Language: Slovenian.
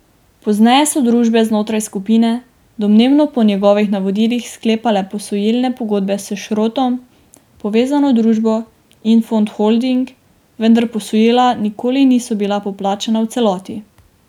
Pozneje so družbe znotraj skupine, domnevno po njegovih navodilih, sklepale posojilne pogodbe s Šrotom povezano družbo Infond Holding, vendar posojila nikoli niso bila poplačana v celoti.